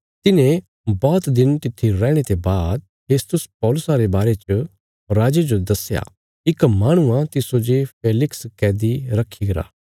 तिन्हांरे बौहत दिन तित्थी रैहणे ते बाद फेस्तुस पौलुसा रे बारे च राजे जो दस्या इक माहणु आ तिस्सो जे फेलिक्स कैदी रखी गरा